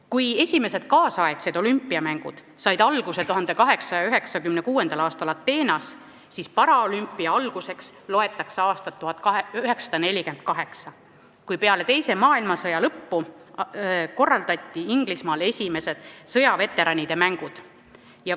Kui nüüdisaegsed olümpiamängud said alguse 1896. aastal Ateenas, siis paraolümpia alguseks loetakse aastat 1948, kui peale teise maailmasõja lõppu korraldati Inglismaal esimesed sõjaveteranide mängud.